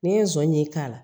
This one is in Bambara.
N'i ye zon ye k'a la